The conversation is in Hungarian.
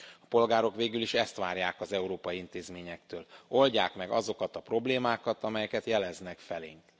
A polgárok végül is ezt várják az európai intézményektől oldják meg azokat a problémákat, amelyeket jeleznek felénk.